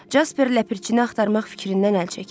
Jasper ləpirçini axtarmaq fikrindən əl çəkdi.